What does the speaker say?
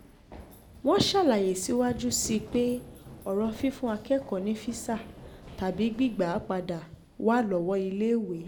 wọ́n ṣàlàyé síwájú sí i pé ọ̀rọ̀ fífún akẹ́kọ̀ọ́ ní físà tàbí gbígbà á padà wá lọ́wọ́ iléèwé